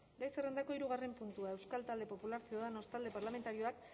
gai zerrendako hirugarren puntua euskal talde popularra ciudadanos talde parlamentarioak